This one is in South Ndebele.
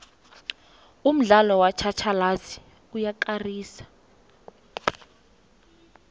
umdlalo wetjhatjhalazi uyakarisa